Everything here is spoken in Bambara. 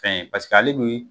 Fɛn ye pasek'ale bɛ